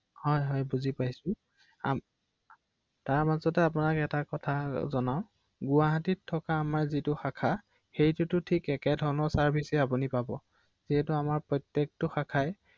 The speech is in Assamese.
যাওঁতে খৰচ পাতিৰ কথা থাকে টো ৷হয়